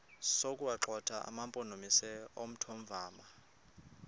sokuwagxotha amampondomise omthonvama